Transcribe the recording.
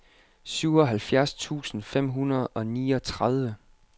syvoghalvfjerds tusind fem hundrede og niogtredive